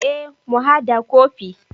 E mu hada kofi.